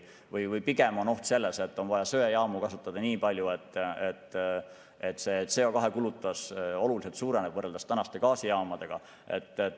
Aga pigem on oht selles, et on vaja söejaamu kasutada nii palju, et CO2 kulutus võrreldes tänaste gaasijaamadega oluliselt suureneb.